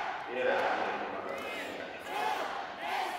Rĩera nĩ rĩtũmaga mĩmera ĩhote kũhuhia.